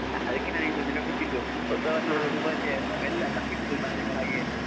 ಅದಕ್ಕೆ ನಾನು ಬಿಟ್ಟದ್ದು ವರ್ಷದ ಶುಭಾಶಯ ಅಂತ ಮೆಲ್ಲ ತಪ್ಪಿಸಿದ್ದು ನಾನು ಹಾಗೆ.